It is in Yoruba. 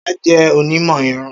Ṣọla jẹ onimọ irun.